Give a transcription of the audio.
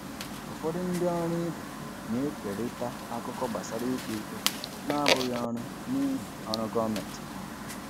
Ụfọdụ ndị ọrụ ibe na-ekerịta akụkọ gbasara ikpe ikpe na-abụghị ọrụ n'ihi ọrụ gọọmentị ha.